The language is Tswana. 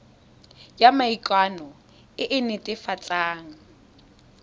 ya maikano e e netefatsang